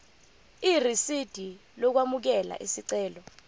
irisidi lokwamukela isicelo